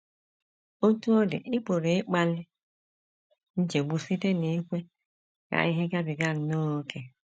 Otú ọ dị, ị pụrụ ịkpali nchegbu site n’ikwe ka ihe gabiga nnọọ ókè.